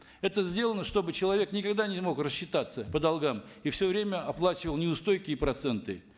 это сделано чтобы человек никогда не мог рассчитаться по долгам и все время оплачивал неустойки и проценты